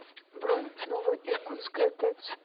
бронь ново иркутская тэц